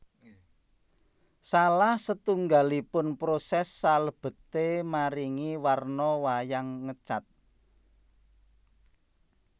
Salah setunggalipun poses salebeté maringi warna wayang ngecat